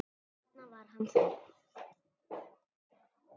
Þarna var hann þá!